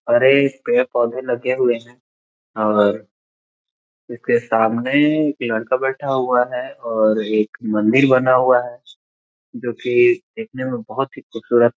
और ये पेड़-पोधे लगे हुए है और इसके सामने एक लड़का बैठा हुआ है और एक मंदिर बना हुआ है जो की देखने में बहोत ही खूबसुरत--